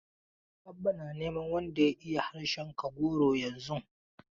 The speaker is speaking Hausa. Abba na neman wanda ya iya harshen Kagoro yanzun.